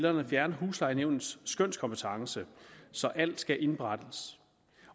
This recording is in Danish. at fjerne huslejenævnets skønskompetence så alt skal indberettes